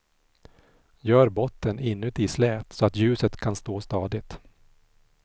Gör botten inuti slät, så att ljuset kan stå stadigt.